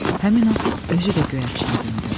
Həmin an özü də göyərçinə döndü.